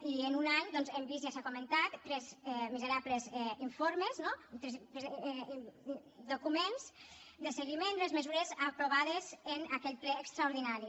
i en un any doncs hem vist ja s’ha comentat tres miserables informes no documents de seguiment de les mesures aprovades en aquell ple extraordinari